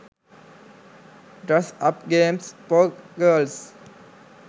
dress up games for girls